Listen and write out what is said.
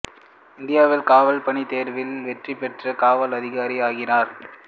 இந்தியக் காவல் பணி தேர்வில் வெற்றி பெற்று காவல் அதிகாரி ஆகிறான்